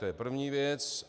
To je první věc.